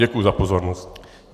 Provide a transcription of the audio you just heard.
Děkuji za pozornost.